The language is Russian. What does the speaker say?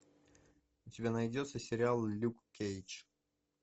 у тебя найдется сериал люк кейдж